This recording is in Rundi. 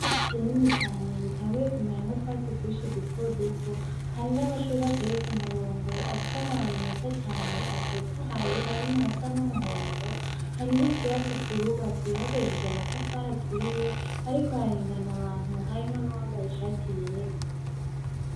Ikibuga kinini cane gitanguye kumeramwo utwatsi twinshi duto duto, hari n'amashurwe ateye k'umurongo afise amababi meza cane atotahaye harimwo ayasa n'umuhondo, hari n'ikirasi kihubatse bakoresheje amatafari aturiye, hariko harengana abantu harimwo n'uwambaye ishati yera.